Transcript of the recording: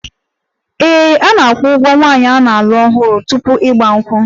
Ee, a na-akwụ ụgwọ nwaanyị a na-alụ ọhụrụ tupu 'Igba nkwu'